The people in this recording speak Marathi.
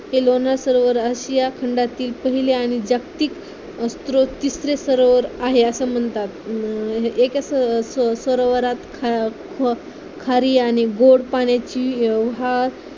ते लोणार सरोवर आशिया खंडातील पहिले आणि जागतिक स्रोत तिसरे सरोवर आहे असं म्हणतात अं एक असं सरोवरात खारी आणि गोड पाण्याची